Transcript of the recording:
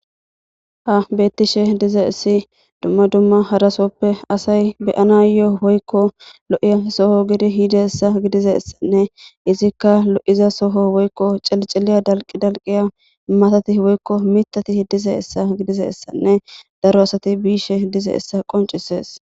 Ha beeththishe dizeessi dumma dumma hara so7oppe asay be7anaayyoo woykko lo7iya soho giide yideessa gidizeessanne ethikka lo7iZa soho cilicilya dalqqidalqqiya matati woykko miththeti diizeessa gidizeessanne daro asathi biishe dizeessa qonccisses.